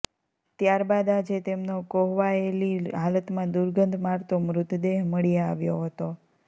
ત્યારબાદ આજે તેમનો કોહવાયેલી હાલતમાં દુર્ગંધ મારતો મૃતદેહ મળી આવ્યો હતો